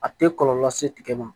A tɛ kɔlɔlɔ lase tigɛ ma